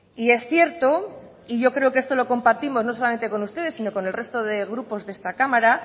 y es cierto y yo creo que esto lo compartimos no solamente con ustedes sino con el resto de grupos de esta cámara